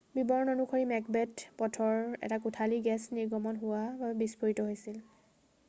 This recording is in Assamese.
বিৱৰণ অনুসৰি মেকবেথ পথৰ এটা কোঠালী গেছ নিৰ্গমন হোৱা বাবে বিষ্ফোৰিত হৈছিল